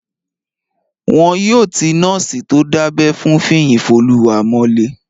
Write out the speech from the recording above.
Wọn yóò ti nọ́ọ̀sì tó dábẹ́ fún Fiyinfoluwa mọ́lé